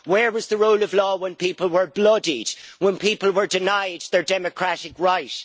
Where was the rule of law when people were bloodied, when people were denied their democratic right?